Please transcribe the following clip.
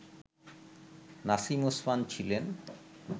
নাসিম ওসমান ছিলেন